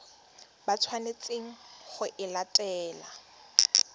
ba tshwanetseng go e latela